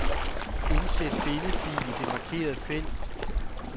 Indsæt billedfil i det markerede felt.